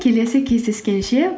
келесі кездескенше